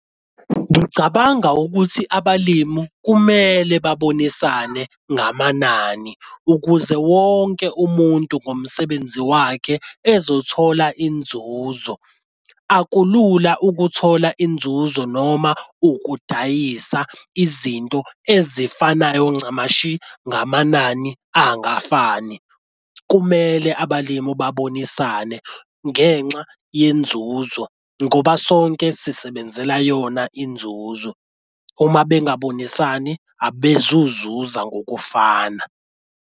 Ngicabanga ukuthi abalimi kumele babonisane ngamanani ukuze wonke umuntu ngomsebenzi wakhe ezothola inzuzo. Akulula ukuthola inzuzo noma ukudayisa izinto ezifanayo ncamashi ngamanani angafani. Kumele abalimu babonisane ngenxa yenzuzo ngoba sonke sisebenzela yona inzuzo. Uma bengabonisani abezuzuza ngokufana.